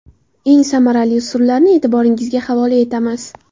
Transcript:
Eng samarali usullarni e’tiboringizga havola etamiz.